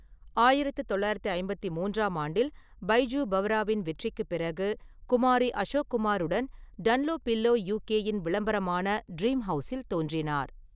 ஆயிரத்து தொள்ளாயிரத்து ஐம்பத்தி மூன்றாம் ஆண்டில், பைஜு பாவ்ராவின் வெற்றிக்குப் பிறகு, குமாரி அசோக் குமாருடன் டன்லோபில்லோ யு.கே.யின் விளம்பரமான ட்ரீம் ஹவுஸில் தோன்றினார்.